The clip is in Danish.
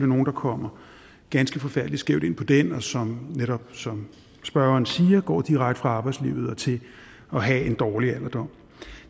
nogle der kommer ganske forfærdelig skævt ind på den og som netop som spørgeren siger går direkte fra arbejdslivet og til at have en dårlig alderdom